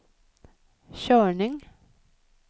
körning